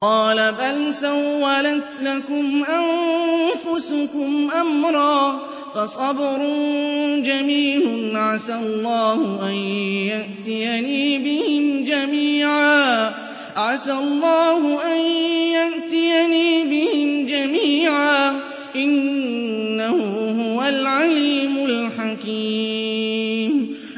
قَالَ بَلْ سَوَّلَتْ لَكُمْ أَنفُسُكُمْ أَمْرًا ۖ فَصَبْرٌ جَمِيلٌ ۖ عَسَى اللَّهُ أَن يَأْتِيَنِي بِهِمْ جَمِيعًا ۚ إِنَّهُ هُوَ الْعَلِيمُ الْحَكِيمُ